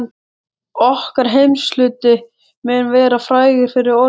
Okkar heimshluti mun vera frægur fyrir orðbragð.